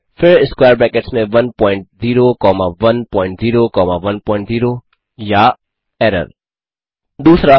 फिर square brackets 1 point 0 comma 1 point 0 comma 1 point 0 error 2